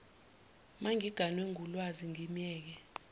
mangiganwe ngulwazi ngimyeke